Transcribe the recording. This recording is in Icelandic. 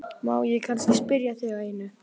Má ég kannski spyrja þig að einu?